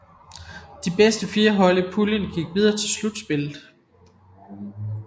De fire bedste hold i puljen gik videre til slutspillet